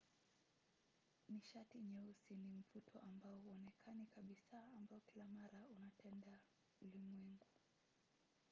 nishati nyeusi ni mvuto ambao hauonekani kabisa ambao kila mara unatendea ulimwengu